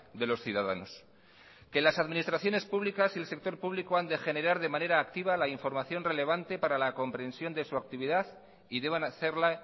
de los ciudadanos que las administraciones públicas y el sector público han de generar de manera activa la información relevante para la comprensión de su actividad y deban hacerla